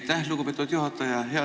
Aitäh, lugupeetud juhataja!